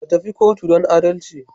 Ka tafi kotu don adalci